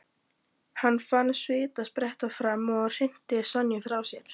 Hann fann svitann spretta fram og hrinti Sonju frá sér.